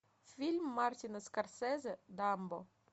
фильм мартина скорсезе дамбо